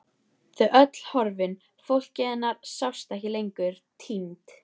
Þau öll horfin, fólkið hennar, sjást ekki lengur, týnd.